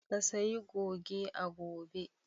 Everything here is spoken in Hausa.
Ka sayi goge a gobe!